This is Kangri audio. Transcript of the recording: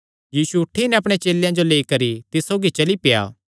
यीशु उठी नैं अपणे चेलेयां जो लेई करी तिस सौगी चली पेआ